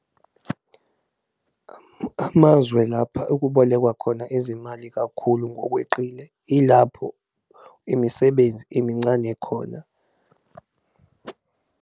Amazwe lapha okubolekwa khona izimali kakhulu ngokweqile, ilapho imisebenzi emincane khona.